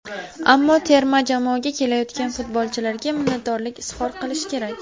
Ammo terma jamoaga kelayotgan futbolchilarga minnatdorlik izhor qilish kerak.